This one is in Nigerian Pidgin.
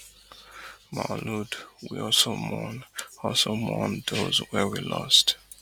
maulud we also mourn also mourn those wey we lost